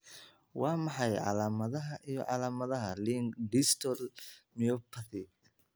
Waa maxay calaamadaha iyo calaamadaha Laing distal myopathy?